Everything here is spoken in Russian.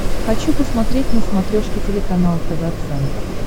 хочу посмотреть на смотрешке телеканал тв центр